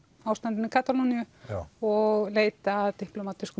ástandinu í Katalóníu og leita að